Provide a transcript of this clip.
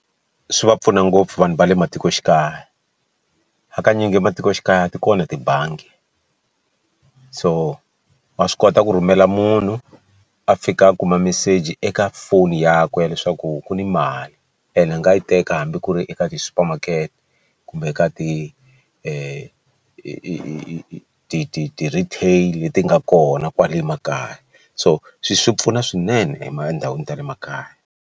Swi va pfuna ngopfu vanhu va le matikoxikaya hakanyingi ematikoxikaya ti kona tibangi so wa swi kota ku rhumela munhu a fika a kuma meseji eka foni yakwe leswaku ku ni mali ene a nga yi teka hambi ku ri eka tisupamakete kumbe ka ti ti ti ti ti ti ti retail leti nga kona kwale makaya so swi pfuna swinene etindhawini ta le makaya.